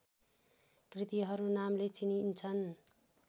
कृतीहरू नामले चिनिन्छन्